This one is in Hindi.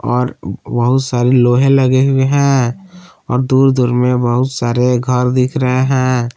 और बहुत सारी लोहे लगे हुए हैं और दूर दूर में बहुत सारे घर दिख रहे हैं।